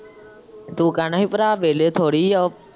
ਤੂੰ ਕਹਿਣਾ ਹੀ ਭਰਾ ਵਿਹਲੇ ਥੋੜ੍ਹੀ ਏ ਉਹ।